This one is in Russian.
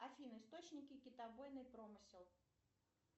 афина источники китобойный промысел